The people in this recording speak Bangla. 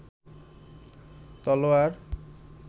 তলোয়ার